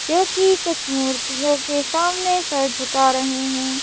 जोकि कुछ मूर्तियों के सामने सर झुका रहे है।